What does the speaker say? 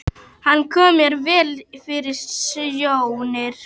Hann kom mér vel fyrir sjónir.